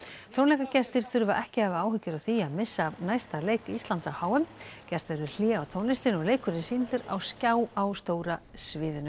tónleikagestir þurfa ekki að hafa áhyggjur af því að missa af næsta leik Íslands á h m gert verður hlé á tónlistinni og leikurinn sýndur á skjá á stóra sviðinu